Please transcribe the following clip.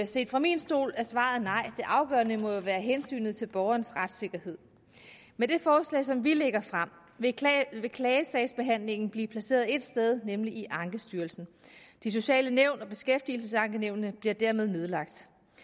set fra min stol er svaret nej det afgørende må jo være hensynet til borgernes retssikkerhed med det forslag som vi lægger frem vil klagesagsbehandlingen blive placeret ét sted nemlig i ankestyrelsen de sociale nævn og beskæftigelsesankenævnene bliver dermed nedlagt